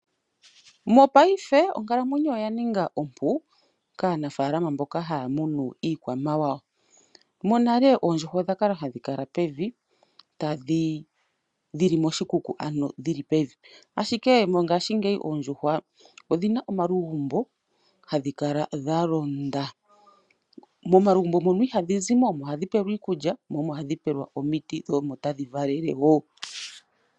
Mopaife, onkalamwenyo oya ninga ompu, kaanafaalama mboka ha ya munu iikwamawa. Monale oondjuhwa odha kala ha dhi kala pevi, dhi li moshikuku, dhi li pevi. Ashike mongashingeyi oondjuhwa odhina omalugumbo, ha dhi kaala dha londa. Momalugumbo mono iha dhi zimo, omo ha dhi pelwa iikulya, mo omo ha dhi pelwa omiti, mo omo ta dhi valele woo.